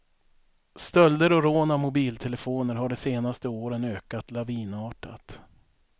Stölder och rån av mobiltelefoner har de senaste åren ökat lavinartat.